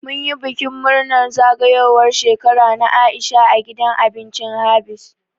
Mun yi bikin murnar zagayowar Shekara na Aisha a gidan abincin Habees.